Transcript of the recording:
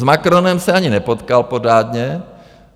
S Macronem se ani nepotkal pořádně.